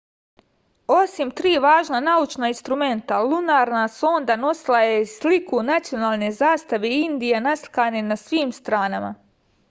osim tri važna naučna instrumenta lunarna sonda nosila je i sliku nacionalne zastave indije naslikane na svim stranama